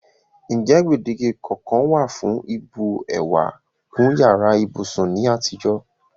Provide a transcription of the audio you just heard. N je gbèdéke kankan wa fún ìbu ewà kún yàrá ibúsún ni àtijọ́?